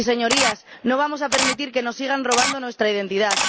Y, Señorías, no vamos a permitir que nos sigan robando nuestra identidad.